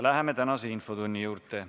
Läheme tänase infotunni juurde.